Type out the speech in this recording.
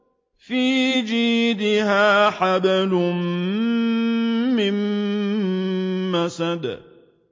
فِي جِيدِهَا حَبْلٌ مِّن مَّسَدٍ